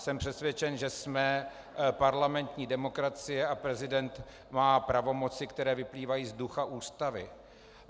Jsem přesvědčen, že jsme parlamentní demokracie, a prezident má pravomoci, které vyplývají z ducha Ústavy.